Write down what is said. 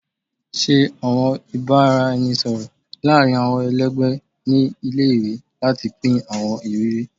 Ṣe awọn ibaraẹnisọrọ laarin awọn ẹlẹgbẹ ni ile-iwe lati pin awọn iriri